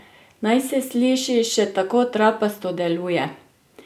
Naj se sliši še tako trapasto, deluje!